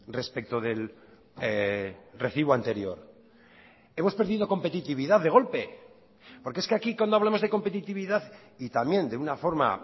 respecto del recibo anterior hemos perdido competitividad de golpe porque es que aquí cuando hablamos de competitividad y también de una forma